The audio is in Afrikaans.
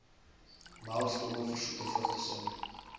melkskommel versoete vrugtesap